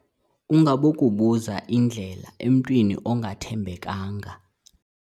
Ungabokubuza indlela emntwini ongathembekanga.